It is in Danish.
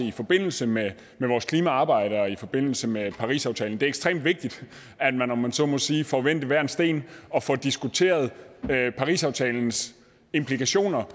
i forbindelse med vores klimaarbejde og i forbindelse med parisaftalen det er ekstremt vigtigt at man om man så må sige får vendt hver en sten og får diskuteret parisaftalens implikationer